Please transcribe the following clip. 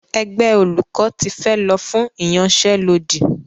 Ẹgbẹ́ olùkọ́ ti fẹ́ lọ fún ìyanṣẹ́lódì.